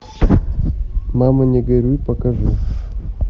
мама не горюй покажи